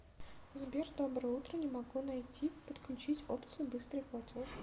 сбер доброе утро не могу найти подключить опцию быстрый платеж